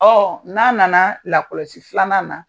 Ɔ n'a nana lakɔlɔsi filanan na